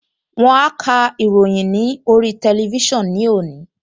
Wọ́n á ka ìròyìn ní orí tẹlifísàn ní òní